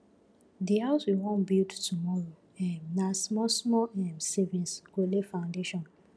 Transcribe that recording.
the house we wan build tomorrow um na smallsmall um savings go lay foundation